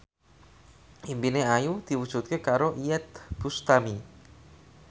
impine Ayu diwujudke karo Iyeth Bustami